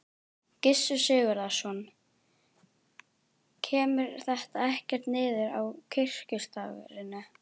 Gissur Sigurðsson: Kemur þetta ekkert niður á kirkjustarfinu?